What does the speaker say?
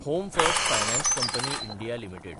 home First Finance Company India limited